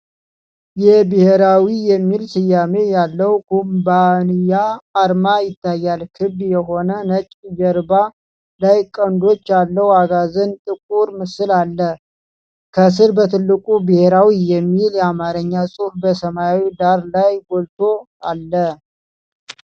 የ "ብሔራዊ" የሚል ስያሜ ያለው ኩባንያ አርማ ይታያል። ክብ የሆነ ነጭ ጀርባ ላይ ቀንዶች ያለው አጋዘን ጥቁር ምስል አለ። ከሥር በትልቁ "ብሔራዊ" የሚል የአማርኛ ጽሑፍ በሰማያዊ ዳራ ላይ ጎልቶ አለ።